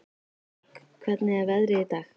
Dögg, hvernig er veðrið í dag?